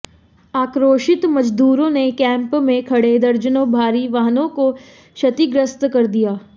आक्रोशित मजदूरों ने कैंप में खड़े दर्जनों भारी वाहनों को क्षतिग्रस्त कर दिया